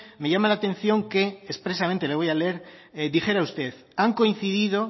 me llama la atención que expresamente le voy a leer dijera usted han coincidido